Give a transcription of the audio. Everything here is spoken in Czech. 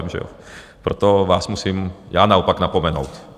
Proto vás musím já naopak napomenout.